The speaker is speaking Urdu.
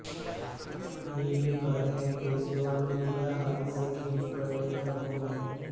یہ بھی پڑھیں کجریوال نے دیا حادثے کی انکوائری کا حکم